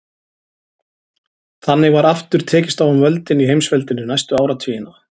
Þannig var aftur tekist á um völdin í heimsveldinu næstu áratugina.